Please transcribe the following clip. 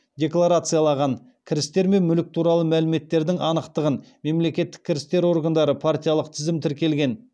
декларациялаған кірістер мен мүлік туралы мәліметтердің анықтығын мемлекеттік кірістер органдары партиялық тізім тіркелген